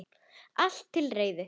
Allt til reiðu.